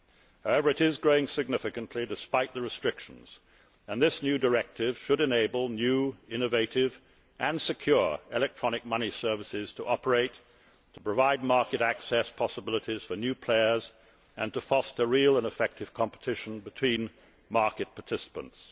However, it is growing significantly, despite the restrictions, and this new directive should enable new, innovative and secure electronic money services to operate, to provide market access possibilities for new players and to foster real and effective competition between market participants.